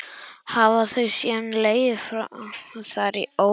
Hafa þau síðan legið þar í óreiðu.